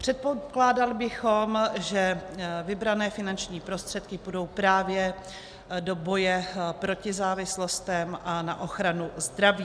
Předpokládali bychom, že vybrané finanční prostředky půjdou právě do boje proti závislostem a na ochranu zdraví.